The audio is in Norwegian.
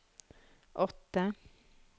åtte